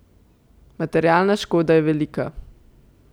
Materialna škoda je velika.